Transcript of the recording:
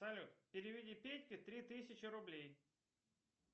салют переведи петьке три тысячи рублей